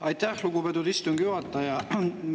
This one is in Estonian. Aitäh, lugupeetud istungi juhataja!